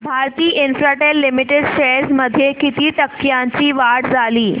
Bharti Infratel Limited shares मध्ये किती टक्क्यांची वाढ झाली